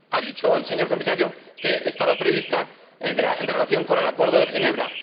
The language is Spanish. Ha dicho el señor Comisario que estaba prevista en relación con el Acuerdo de Ginebra